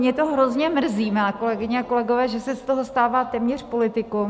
Mě to hrozně mrzí, milé kolegyně a kolegové, že se z toho stává téměř politikum.